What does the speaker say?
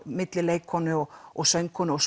milli leikkonu og og söngkonu og